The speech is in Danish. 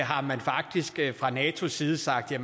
har man faktisk fra natos side sagt at